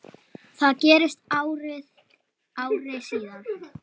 Það gerðist ári síðar.